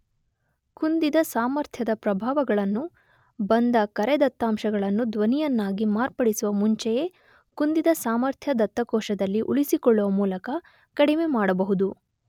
ಕುಂದಿದ ಸಾಮರ್ಥ್ಯದ ಪ್ರಭಾವಗಳನ್ನು ಬಂದ ಕರೆ ದತ್ತಾಂಶಗಳನ್ನು ಧ್ವನಿಯನ್ನಾಗಿ ಮಾರ್ಪಡಿಸುವ ಮುಂಚೆಯೇ ಕುಂದಿದ ಸಾಮರ್ಥ್ಯ ದತ್ತಕೋಶದಲ್ಲಿ ಉಳಿಸಿಕೊಳ್ಳುವ ಮೂಲಕ ಕಡಿಮೆ ಮಾಡಬಹುದು